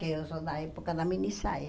Que usou na época da minissaia.